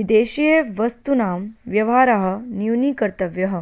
विदेशीयवस्तूनां व्यवहारः न्यूनीकर्तव्यः